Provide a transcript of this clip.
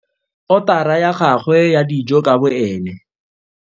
Otara ya gagwe ya dijo ka boene.